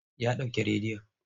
Ya ɗauke rediyon.